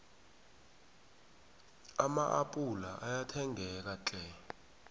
ama appula ayathengeka tlhe